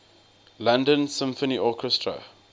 london symphony orchestra